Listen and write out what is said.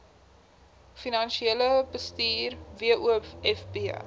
finansiële bestuur wofb